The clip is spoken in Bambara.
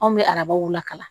Anw bɛ arabaw lakala